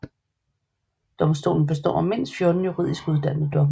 Domstolen består af mindst 14 juridisk uddannede dommere